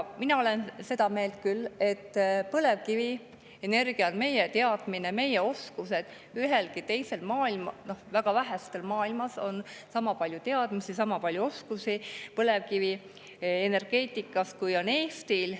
Mina olen küll seda meelt, et väga vähestel maailmas on sama palju teadmisi ja sama palju oskusi põlevkivienergeetikas, kui on Eestil.